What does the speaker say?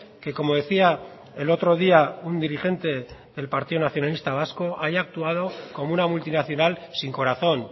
que como decía el otro día un dirigente del partido nacionalista vasco haya actuado como una multinacional sin corazón